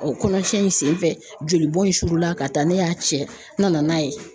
kɔnɔ cɛn in senfɛ joli bɔn in surula ka taa ne y'a cɛ n nana n'a ye